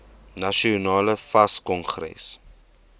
nasionale fas kongres